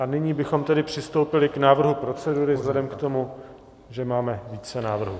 A nyní bychom tedy přistoupili k návrhu procedury vzhledem k tomu, že máme více návrhů.